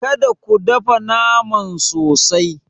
Kada ka dafa naman sosai.